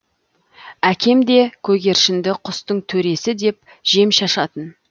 әкем де көгершінді құстың төресі деп жем шашатын